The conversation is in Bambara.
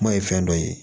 Kuma ye fɛn dɔ ye